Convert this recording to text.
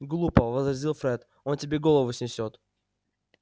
глупо возразил фред он тебе голову снесёт